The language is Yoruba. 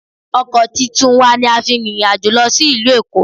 Ọkọ̀ titun wa ni a fi rìnrìn àjò lọ sí ìlú Èkó